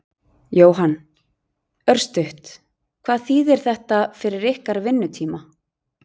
Jóhann: Örstutt, hvað þýðir þetta fyrir ykkar vinnutíma?